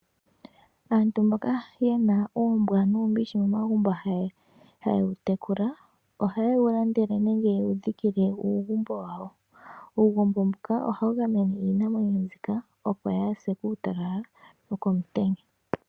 Aantu mboka yena uumbwa nuumbishi momagumbo haye wu tekula, ohaye wu landele nenge yewu dhikile uugumbo wa wo. Uugumbo mbuka ohawu gamene iinamwenyo mbika opo kayi se kuutalala nokomutenya.